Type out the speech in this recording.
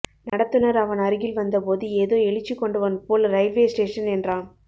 நடத்துனர் அவன் அருகில் வந்தபோது ஏதோ எழுச்சி கொண்டவன் போல் இரயில்வே ஸ்டேசன் என்றான்